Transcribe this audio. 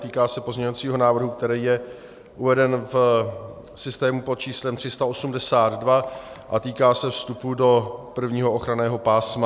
Týká se pozměňovacího návrhu, který je uveden v systému pod číslem 382 a týká se vstupu do prvního ochranného pásma.